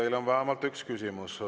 Teile on vähemalt üks küsimus.